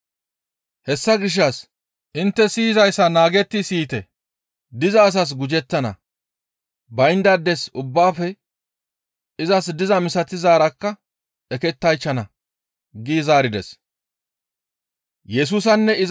«Hessa gishshas intte siyizayssa naagetti siyite; diza asas gujettana; bayndaades ubbaafe izas dizaa misatizaarakka ekettaychchana» gi zaarides.